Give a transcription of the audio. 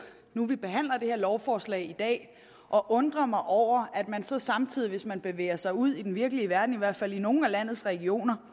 nu vi behandler det her lovforslag i dag at undre mig over at man så samtidig hvis man bevæger sig ud i den virkelige verden i hvert fald i nogle af landets regioner